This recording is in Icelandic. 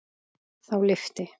Þá lyfti